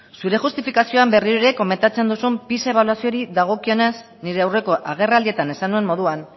zure justifikazioan berriro ere komentatzen duzun pisa ebaluazioari dagokionez nire aurreko agerraldietan esan nuen moduan